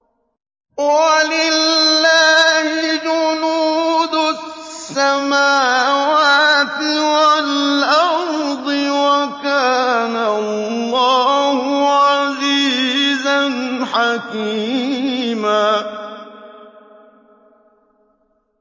وَلِلَّهِ جُنُودُ السَّمَاوَاتِ وَالْأَرْضِ ۚ وَكَانَ اللَّهُ عَزِيزًا حَكِيمًا